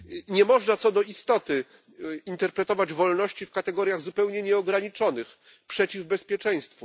Nie można co do istoty interpretować wolności w kategoriach zupełnie nieograniczonych, przeciw bezpieczeństwu.